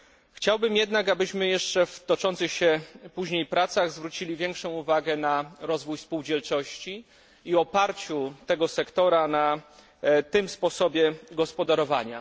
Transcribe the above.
Chciałbym jednak, żebyśmy w toczących się później pracach zwrócili większą uwagę na rozwój spółdzielczości i na oparcie tego sektora na tym sposobie gospodarowania.